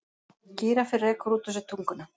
Gíraffi rekur út úr sér tunguna.